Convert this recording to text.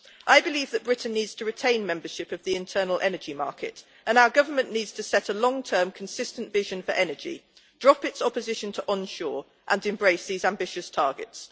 I believe that Britain needs to retain membership of the internal energy market, and our government needs to set a long term consistent vision for energy, drop its opposition to onshore, and embrace these ambitious targets.